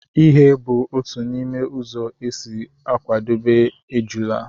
ighe bụ otu n'ime ụzọ e si akwadebe ejula